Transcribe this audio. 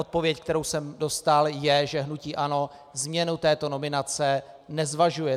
Odpověď, kterou jsem dostal, je, že hnutí ANO změnu této nominace nezvažuje.